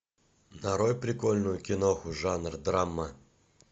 нарой прикольную киноху жанр драма